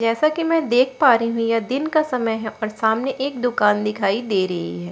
जैसा कि मैं देख पा रही हूं यह दिन का समय है और सामने एक दुकान दिखाई दे रही है।